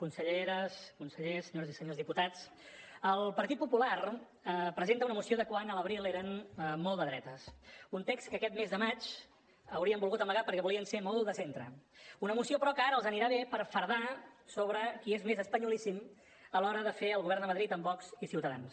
conselleres consellers senyores i senyors diputats el partit popular presenta una moció de quan a l’abril eren molt de dretes un text que aquest mes de maig haurien volgut amagar perquè volien ser molt de centre una moció però que ara els anirà bé per fardar sobre qui és més espanyolíssim a l’hora de fer el govern de madrid amb vox i ciutadans